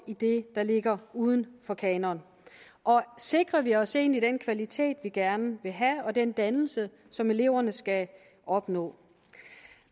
i det der ligger uden for kanonen og sikrer vi os egentlig den kvalitet vi gerne vil have og den dannelse som eleverne skal opnå